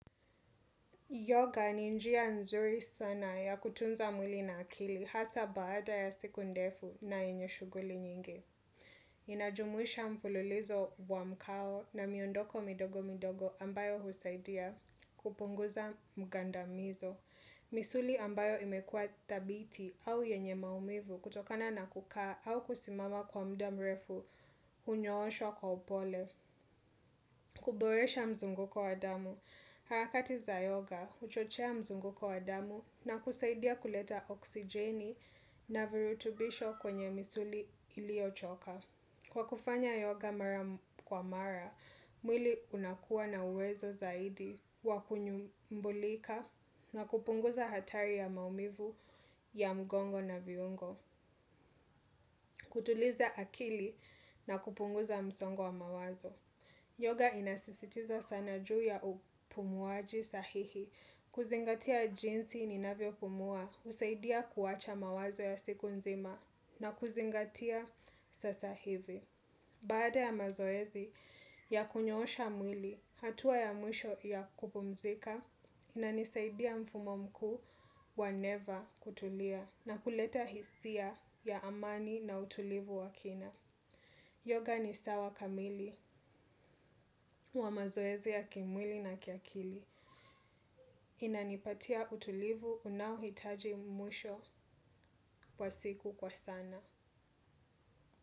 Yoga ni njia nzuri sana ya kutunza mwili na akili hasa baada ya siku ndefu na yenye shughuli nyingi. Inajumuisha mfululizo wa mkao na miondoko midogo midogo ambayo husaidia kupunguza mgandamizo. Misuli ambayo imekua thabiti au yenye maumivu kutokana na kukaa au kusimama kwa muda mrefu hunyooshwa kwa upole. Kuboresha mzunguko wa damu harakati za yoga huchochea mzunguko wa damu na kusaidia kuleta oksijeni na virutubisho kwenye misuli ilio choka. Kwa kufanya yoga mara kwa mara, mwili unakua na uwezo zaidi wakunyumbulika na kupunguza hatari ya maumivu ya mgongo na viungo. Kutuliza akili na kupunguza msongo wa mawazo Yoga inasisitiza sana juu ya upumuaji sahihi. Kuzingatia jinsi ninavyo pumua, husaidia kuwacha mawazo ya siku nzima na kuzingatia sasa hivi. Baada ya mazoezi ya kunyoosha mwili, hatua ya mwisho ya kupumzika inanisaidia mfumo mkuu wa never kutulia na kuleta hisia ya amani na utulivu wa kina. Yoga ni sawa kamili wa mazoezi ya kimwili na kiakili. Inanipatia utulivu unaohitaji mwisho kwa siku kwa sana.